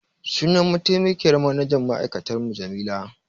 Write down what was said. Sunan mataimakiyyar manajan ma'aikatar mu Jamila.